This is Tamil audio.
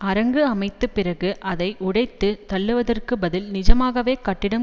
அரங்கு அமைத்து பிறகு அதை உடைத்து தள்ளுவதற்கு பதில் நிஜமாகவே கட்டிடம்